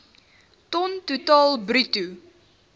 ton totaal bruto